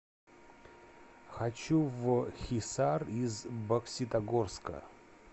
хочу в хисар из бокситогорска